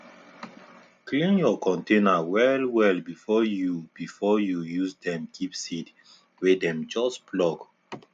clean your container well well before you before you use dem keep seed wey dem just pluck